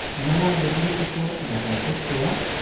ᱱᱟᱶᱟ ᱞᱩᱜᱽᱲᱤ ᱛᱮᱠᱚ ᱫᱟᱯᱟᱞ ᱠᱮᱫ ᱠᱚᱣᱟ ᱾